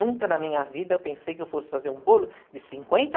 Nunca na minha vida eu pensei que eu fosse fazer um bolo de cinquenta